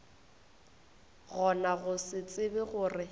gona go se tsebe gore